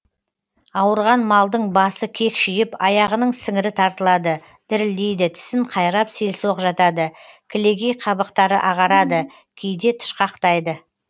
ауырған малдың басы кекшиіп аяғының сіңірі тартылады дірілдейді тісін қайрап селсоқ жатады кілегей қабықтары ағарады кейде тышқақтайды